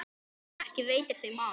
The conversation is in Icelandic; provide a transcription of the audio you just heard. Ekki veitir þeim af.